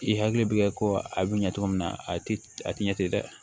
I hakili bɛ kɛ ko a bɛ ɲɛ cogo min na a tɛ a tɛ ɲɛ ten dɛ